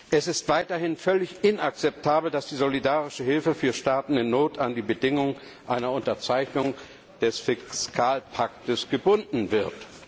Es ist weiterhin völlig inakzeptabel, dass die solidarische Hilfe für Staaten in Not an die Bedingung einer Unterzeichnung des Fiskalpakts gebunden wird.